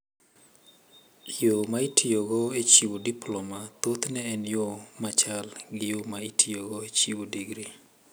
Yo ma itiyogo e chiwo diploma thothne en yo ma chal gi yo ma itiyogo e chiwo digri.